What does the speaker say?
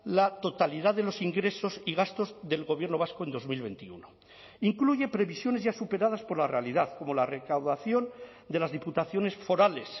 la totalidad de los ingresos y gastos del gobierno vasco en dos mil veintiuno incluye previsiones ya superadas por la realidad como la recaudación de las diputaciones forales